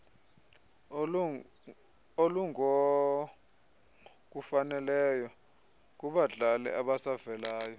olungokufaneleyo kubadlali abasavelayo